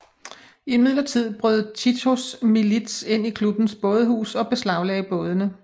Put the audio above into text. Imidlertid brød Titos milits ind i klubbens bådehus og beslaglagde bådene